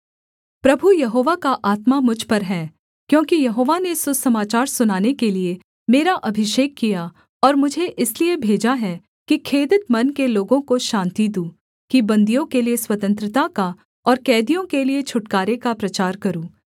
प्रभु यहोवा का आत्मा मुझ पर है क्योंकि यहोवा ने सुसमाचार सुनाने के लिये मेरा अभिषेक किया और मुझे इसलिए भेजा है कि खेदित मन के लोगों को शान्ति दूँ कि बन्दियों के लिये स्वतंत्रता का और कैदियों के लिये छुटकारे का प्रचार करूँ